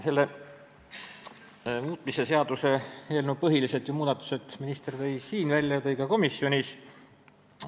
Selle seaduse muutmise seaduse eelnõuga seotud põhilised muudatused tõi minister siin välja ja tõi ka komisjonis.